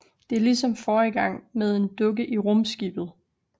Det er ligesom forrige gang med en dukke i rumskibet